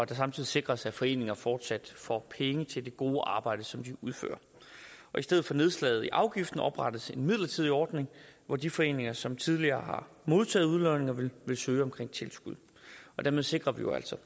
det samtidig sikres at foreninger fortsat får penge til det gode arbejde som de udfører i stedet for nedslag i afgiften oprettes en midlertidig ordning hvor de foreninger som tidligere har modtaget udlodninger vil søge om tilskud dermed sikrer vi jo altså